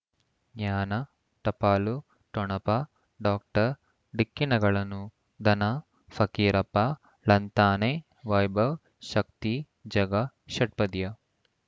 ಜ್ಞಾನ ಟಪಾಲು ಠೊಣಪ ಡಾಕ್ಟರ್ ಢಿಕ್ಕಿ ಣಗಳನು ಧನ ಫಕೀರಪ್ಪ ಳಂತಾನೆ ವೈಭವ್ ಶಕ್ತಿ ಝಗಾ ಷಟ್ಪದಿಯ